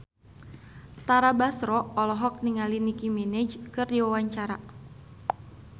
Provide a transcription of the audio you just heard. Tara Basro olohok ningali Nicky Minaj keur diwawancara